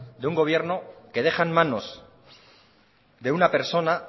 de un gobierno que deja en manos de una persona